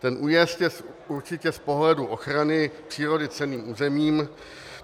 Ten újezd je určitě z pohledu ochrany přírody cenným územím.